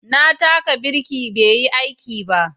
Na taka birki bai yi aiki ba